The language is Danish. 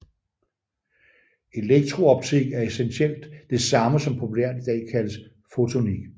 Elektrooptik er essentielt det samme som populært i dag kaldes fotonik